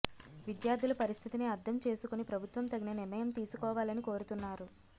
విద్యార్థుల పరిస్థితిని అర్థం చేసుకుని ప్రభుత్వం తగిన నిర్ణయం తీసుకోవాలని కోరుతున్నారు